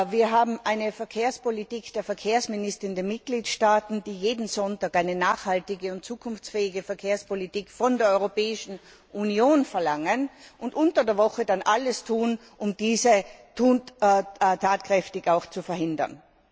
Die Verkehrspolitik der Verkehrsminister in den Mitgliedstaaten besteht darin, jeden Sonntag eine nachhaltige und zukunftsfähige Verkehrspolitik von der Europäischen Union zu verlangen und unter der Woche dann alles zu tun, um diese tatkräftig zu behindern.